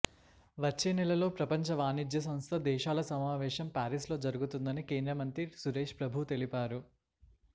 వచ్చే నెలలో ప్రపంచ వాణిజ్య సంస్థ దేశాల సమావేశం పారిస్లో జరుగుతుందని కేంద్ర మంత్రి సురేష్ ప్రభు చెప్పారు